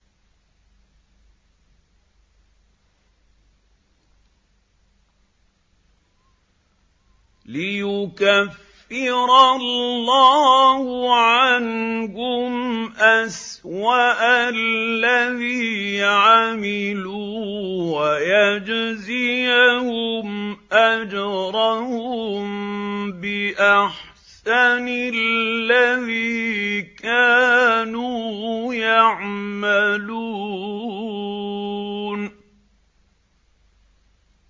لِيُكَفِّرَ اللَّهُ عَنْهُمْ أَسْوَأَ الَّذِي عَمِلُوا وَيَجْزِيَهُمْ أَجْرَهُم بِأَحْسَنِ الَّذِي كَانُوا يَعْمَلُونَ